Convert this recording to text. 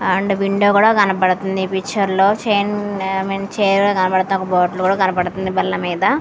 And window కూడా కనబడుతుంది పిక్చర్లో .